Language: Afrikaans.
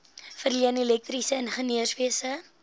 verleen elektriese ingenieurswese